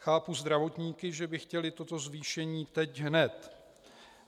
Chápu zdravotníky, že by chtěli toto zvýšení teď hned.